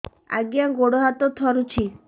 ଆଜ୍ଞା ଗୋଡ଼ ହାତ ଥରୁଛି